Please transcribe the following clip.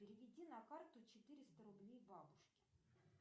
переведи на карту четыреста рублей бабушке